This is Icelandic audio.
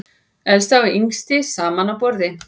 Elsta og yngsti saman á borði